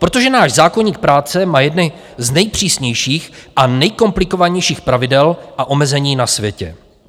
Protože náš zákoník práce má jedny z nejpřísnějších a nejkomplikovanějších pravidel a omezení na světě.